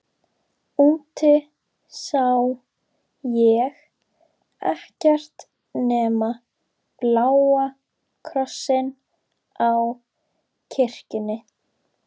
Úti sá ég ekkert nema bláa krossinn á kirkjunni.